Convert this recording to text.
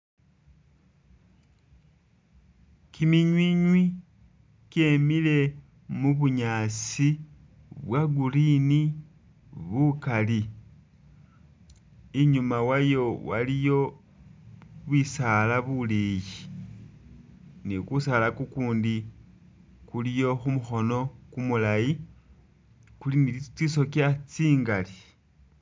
Kiminywiinywi kyemile mu bunyaasi bwa green bukali, inyuma wayo waliyo bisaala bileyi ni kusaala kukundi kuliyo khu mukhono kumulayi kuli ni tsisokya tsingali.